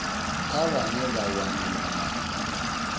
kha vhane vha wana malamba